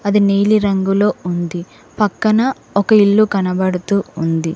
అది నీలిరంగులో ఉంది పక్కన ఒక ఇల్లు కనబడుతూ ఉంది.